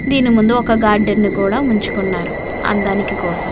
దీని ముందు ఒక గార్డెన్ ని కూడా ఉంచుకున్నారు అందానికి కోసం.